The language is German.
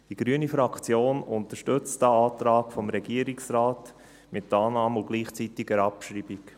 Die grüne Fraktion unterstützt den Antrag des Regierungsrates mit Annahme und gleichzeitiger Abschreibung.